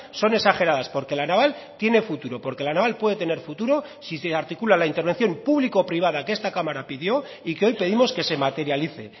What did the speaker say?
son exageradas porque la naval tiene futuro porque la naval puede tener futuro si se articula la intervención público privada que esta cámara pidió y que hoy pedimos que se materialice